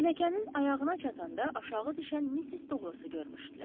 Pilləkənin ayağına çatanda aşağı düşən missis Douqlası görmüşdülər.